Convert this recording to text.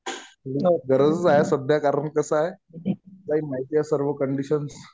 गरजच आहे सध्या. कारण कि कसं आहे, तुलाही माहितीये सर्व कंडिशन्स.